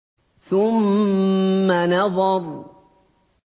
ثُمَّ نَظَرَ